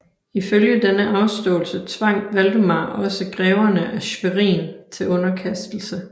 Ifølge denne afståelse tvang Valdemar også greverne af Schwerin til underkastelse